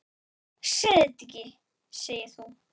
Segðu þetta ekki, segir þú.